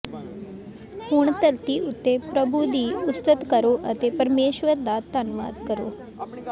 ਹੁਣ ਧਰਤੀ ਉੱਤੇ ਪ੍ਰਭੂ ਦੀ ਉਸਤਤ ਕਰੋ ਅਤੇ ਪਰਮੇਸ਼ੁਰ ਦਾ ਧੰਨਵਾਦ ਕਰੋ